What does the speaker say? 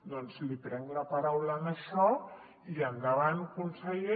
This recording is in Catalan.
doncs li prenc la paraula en això i endavant conseller